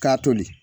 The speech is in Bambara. K'a toli